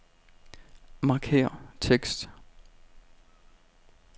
Markér tekst.